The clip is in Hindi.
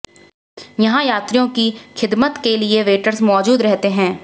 यहां यात्रियों की खिदमत के लिए वेटर्स मौजूद रहते हैं